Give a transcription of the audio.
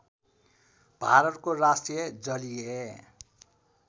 भारतको राष्ट्रिय जलीय